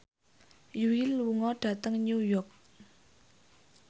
Yui lunga dhateng New York